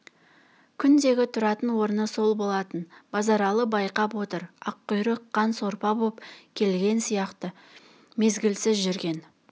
күндегі тұратын орны сол болатын базаралы байқап отыр аққұйрық қан сорпа боп келген сияқты мезгілсіз жүрген